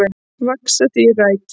Vaxa því þrætur